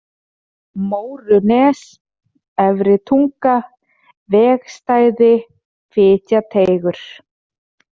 Mórunes, Efri-Tunga, Vegstæði, Fitjateigur